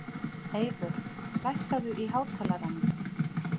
Eyvör, lækkaðu í hátalaranum.